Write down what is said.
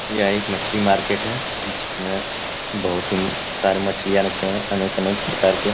यह एक मछली मार्केट है जिसमें बहुत ही सारे मछलियाँ रखे हैं अनेक-अनेक प्रकार के --